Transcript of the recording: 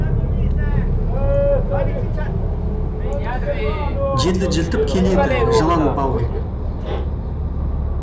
жерді жыртып келеді жылан бауыр